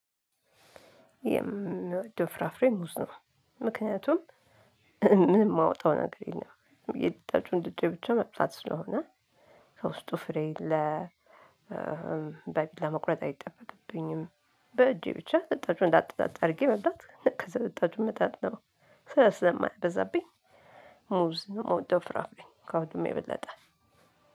የምወድው ፍራፍሬ ሙዝ ነው ምክንያቱም ምን የማወጣው ነገር የለም። የጠጡን ድጄ ብቻ መምጣት ስለሆነ ከውስጡ ፍሬ ለ በቢላ መቁረጥ አይጠበቅብኝም። በእጄ ብቻ ልጣጩን ላጥ ላጥ አድርጌ መብታት ከዛ ልጣጩን መጣል ነው። ስራ ስለማያበዛብኝ ሙዝ ነው የምወደው ፍራፍሬ ከሁሉም የበለጠ።